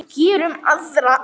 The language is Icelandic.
Gerum aðra.